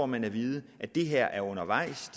man at vide at det her er undervejs